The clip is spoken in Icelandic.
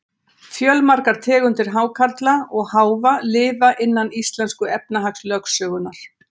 Fjölmargar tegundir hákarla og háfa lifa innan íslensku efnahagslögsögunnar.